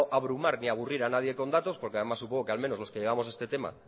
abrumar ni aburrir a nadie con datos porque además supongo que al menos los que llevamos este tema